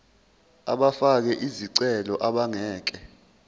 abafake izicelo abangeke